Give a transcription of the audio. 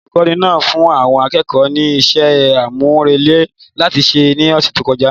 Olùkọ́ni náà fún àwọn akẹ́kọ̀ọ́ ní iṣẹ́ àmúrelé láti ṣe ní ọ̀sẹ̀ tó kọjá